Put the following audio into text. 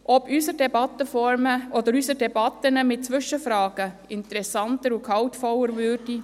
Ob unsere Debatten mit Zwischenfragen wohl interessanter und gehaltvoller würden?